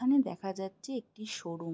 এইখানে দেখা যাচ্ছে একটি শো -রুম